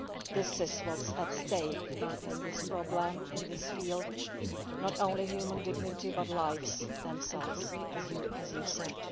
This is what is at stake in this problem, in this field not only human dignity but lives themselves, as you have said.